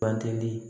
Banteli